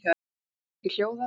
Getur ekki hljóðað.